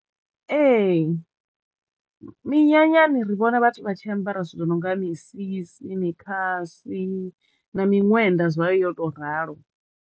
Ehe minyanyani ri vhona vhathu vha tshi ambara zwithu zwo no nga misisi, mikhasi na miṅwenda zwayo yo to ralo.